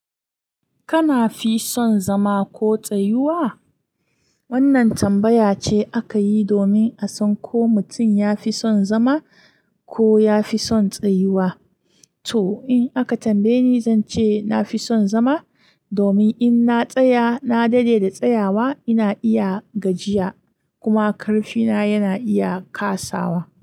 Kana fi son zama ko tsayuwa? Wannan tambaya ce aka yi domin a san ko mutum ya fi son zama ko ya fi son tsayuwa. To, in aka tambaye ni, zan ce na fi son zama domin in na tsaya, na daɗe da tsayawa ina iya gajiya kuma ƙarfi na yana iya kasawa.